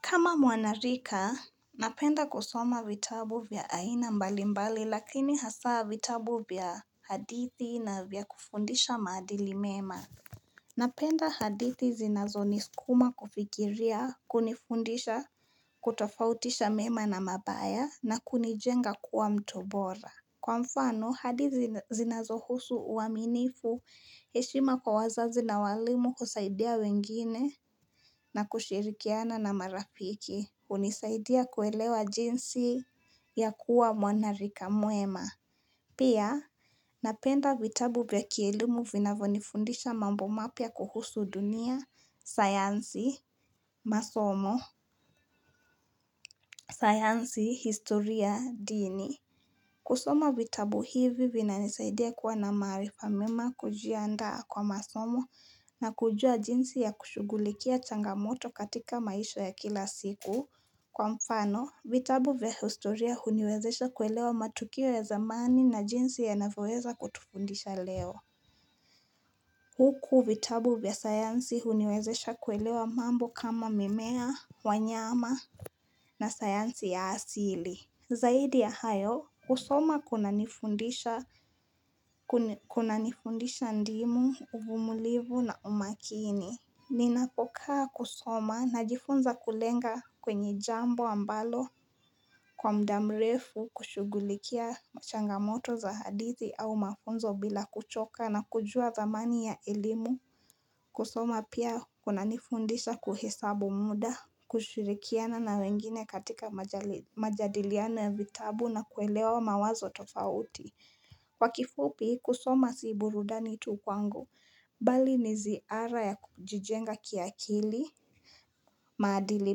Kama mwanarika napenda kusoma vitabu vya aina mbalimbali lakini hasaa vitabu vya hadithi na vya kufundisha maadili mema Napenda hadithi zinazo niskuma kufikiria kunifundisha kutofautisha mema na mabaya na kunijenga kuwa mtu bora Kwa mfano, hadithi zinazohusu uaminifu, heshima kwa wazazi na waalimu, kusaidia wengine na kushirikiana na marafiki, hunisaidia kuelewa jinsi ya kuwa mwanarika mwema. Pia, napenda vitabu vya kielumu vinavonifundisha mambo mapya kuhusu dunia, sayansi, masomo, sayansi, historia, dini. Kusoma vitabu hivi vinanisaidia kuwa na maarifa mema kujia andaa kwa masomo na kujua jinsi ya kushugulikia changamoto katika maisha ya kila siku. Kwa mfano, vitabu vya historia huniwezesha kuelewa matukio ya zamani na jinsi yanavyoweza kutufundisha leo. Huku vitabu vya sayansi huniwezesha kuelewa mambo kama mimea, wanyama na sayansi ya asili. Zaidi ya hayo, kusoma kunanifundisha kuna nifundisha ndimu, uvumulivu na umaakini. Ninapo kaa kusoma najifunza kulenga kwenye jambo ambalo kwa muda mrefu kushugulikia changamoto za hadithi au mafunzo bila kuchoka na kujua thamani ya elimu. Kusoma pia kuna nifundisha pia kuhesabu muda, kushirikiana na wengine katika majadiliano ya vitabu na kuelewa mawazo tofauti Kwa kifupi, kusoma si burudani tu kwangu, bali ni ziara ya kujijenga kiakili, maadili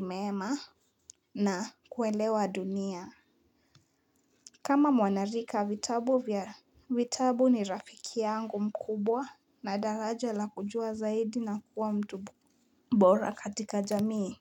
mema na kuelewa dunia kama mwana rika vitabu ni rafiki yangu mkubwa na daraja la kujua zaidi na kuwa mtu bora katika jamii.